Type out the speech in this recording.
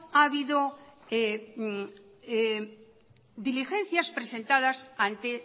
ha habido diligencias presentadas ante